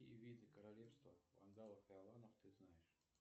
какие виды королевства вандалов и аланов ты знаешь